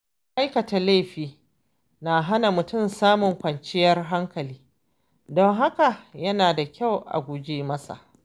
Aikata laifi na hana mutum samun kwanciyar hankali, don haka yana da kyau a guje masa.